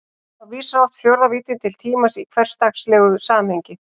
Þá vísar oft fjórða víddin til tímans í hversdagslegu samhengi.